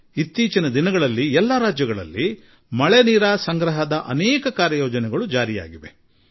ಕಳೆದ ಕೆಲವು ದಿನಗಳಲ್ಲಿ ಪ್ರತಿ ರಾಜ್ಯದಲ್ಲೂ ಜಲ ಸಂರಕ್ಷಣೆಯ ಅನೇಕ ಪ್ರಯತ್ನಗಳಾಗಿವೆ